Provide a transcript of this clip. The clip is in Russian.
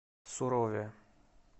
сурове